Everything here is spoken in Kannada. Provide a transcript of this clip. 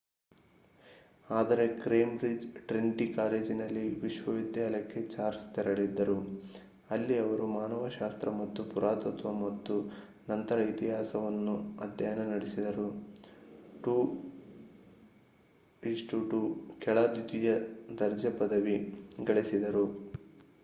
ಆದರೆ ಕೇಂಬ್ರಿಜ್‌ನ ಟ್ರಿನಿಟಿ ಕಾಲೇಜಿನಲ್ಲಿ ವಿಶ್ವವಿದ್ಯಾಲಯಕ್ಕೆ ಚಾರ್ಲ್ಸ್‌ ತೆರಳಿದ್ದರು ಇಲ್ಲಿ ಅವರು ಮಾನವಶಾಸ್ತ್ರ ಮತ್ತು ಪುರಾತತ್ವ ಮತ್ತು ನಂತರ ಇತಿಹಾಸವನ್ನು ಅಧ್ಯಯನ ನಡೆಸಿ. 2:2 ಕೆಳ ದ್ವಿತೀಯ ದರ್ಜೆ ಪದವಿ ಗಳಿಸಿದರು